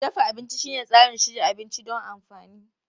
Dafa abinci shine tsarin shirya abinci don amfani.